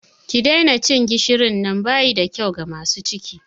Ki daina cin gishirin nan!bayi da kyau ga masu ciki.